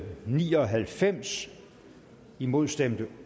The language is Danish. ni og halvfems imod stemte